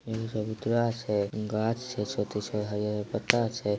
एगो चबूतरा छे गाछ छे छोटी छो हरी-हरी पत्ता छे।